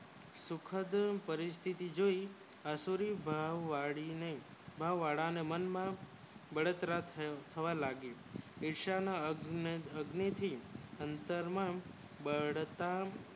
સુખ ની પરિસ્થી જોય આ શુભવળી ને મન વાળા ને મન માં બળતરા થવા લાગી વિશ્વ માં આપણે ભભૂતિ ઉપર મળી બળતરા સુખ દુઃખ કરી